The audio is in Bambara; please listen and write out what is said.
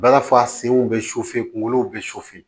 Bala bɛ kunkolo bɛ